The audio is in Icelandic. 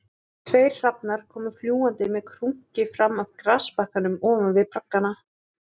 Tveir hrafnar komu fljúgandi með krunki fram af grasbakkanum ofan við braggana